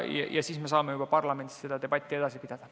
Ja siis saame juba parlamendis debatti edasi pidada.